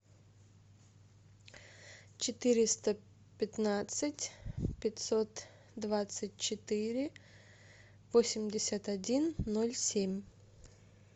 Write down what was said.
четыреста пятнадцать пятьсот двадцать четыре восемьдесят один ноль семь